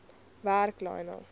werk lionel